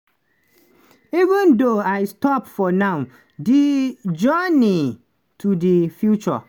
"even though i stop for now di journey to di future